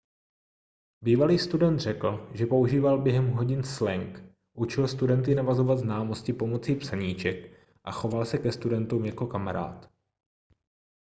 bývalý student řekl že používal během hodin slang učil studenty navazovat známosti pomocí psaníček a choval se ke studentům jako kamarád